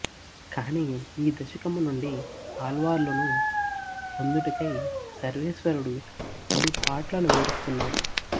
కానీ ఈ దశకము నుండి ఆళ్వార్లును పొందుటకై సర్వేశ్వరుడు పడుపాట్లను వివరిస్తున్నారు